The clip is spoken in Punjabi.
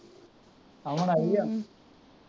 ਅਮਨ ਆਈ ਐ